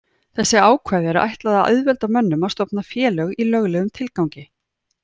Þessu ákvæði er ætlað að auðvelda mönnum að stofna félög í löglegum tilgangi.